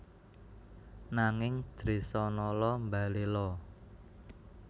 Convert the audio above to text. Nanging Dresanala mbaléla